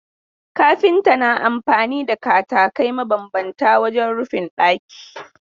Kafinta na amfani da katakai mabambanta wajen rufin ɗaki.